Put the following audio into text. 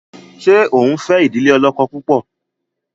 ṣe o nfe idile olókó púpọ.?